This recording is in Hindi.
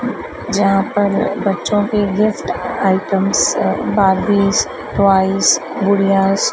जहां पर बच्चों के गिफ्ट आइटम्स बॉर्बीज टॉयज गुड़िया--